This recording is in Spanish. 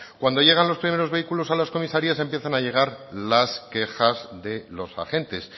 cuando llegan los primeros vehículos a las comisarías empiezan a llegar las quejas de los agentes